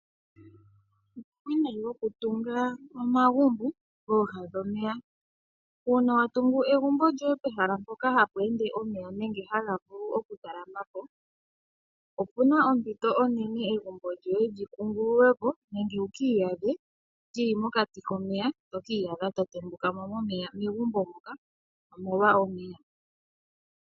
Uuwinayi wokutunga omagumbo pooha dhomeya. Uuna wa tungu egumbo lyoye pehala mpoka hapu tondoka omeya nenge haga vulu oku kankama po, opu na ompito onene egumbo lyoye li kungululwe po, nenge wuka adhe lili mokati komeya, nenge wu ki iyadhe to tembukamo megumbo moka, omolwa omeya.